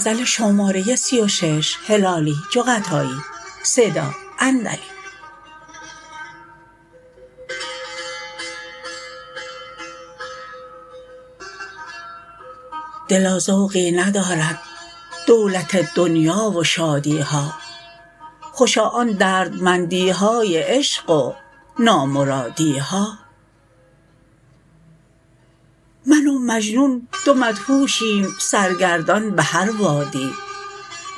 دلا ذوقی ندارد دولت دنیا و شادی ها خوشا آن دردمندی های عشق و نامرادی ها من و مجنون دو مدهوشیم سر گردان بهر وادی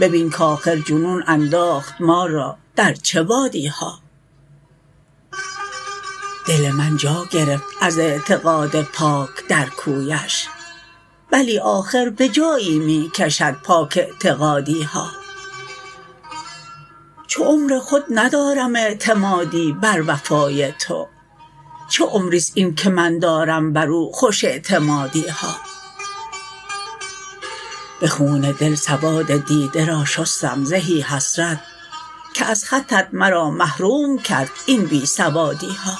ببین کآخر جنون انداخت ما را در چه وادی ها دل من جا گرفت از اعتقاد پاک در کویش بلی آخر به جایی می کشد پاک اعتقادی ها چو عمر خود ندارم اعتمادی بر وفای تو چه عمرست این که من دارم بر او خوش اعتمادی ها به خون دل سواد دیده را شستم زهی حسرت که از خطت مرا محروم کرد این بی سوادی ها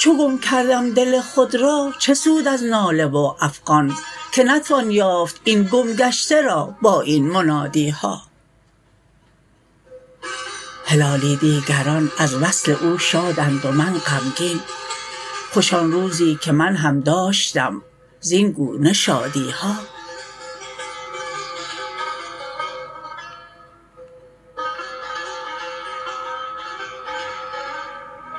چو گم کردم دل خود را چه سود از ناله و افغان که نتوان یافت این گم گشته را با این منادی ها هلالی دیگران از وصل او شادند و من غمگین خوش آن روزی که من هم داشتم زین گونه شادی ها